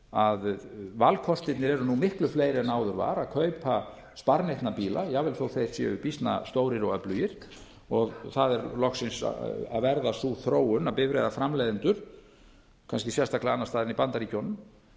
að valkostirnir eru nú miklu fleiri en áður var að kaupa sparneytna bíla jafnvel þótt þeir séu býsna stórir og öflugir og það er loksins að verða sú þróun að bifreiðaframleiðendur kannski sérstaklega annars staðar en í bandaríkjunum